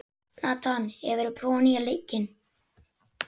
Nathan, hefur þú prófað nýja leikinn?